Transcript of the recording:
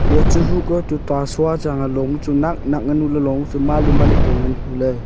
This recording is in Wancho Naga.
eya chu hukoh le tuta sua chang a long chu nak nak nuley long ang chu malI malI pu ngan huley.